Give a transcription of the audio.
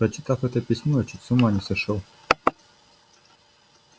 прочитав это письмо я чуть с ума не сошёл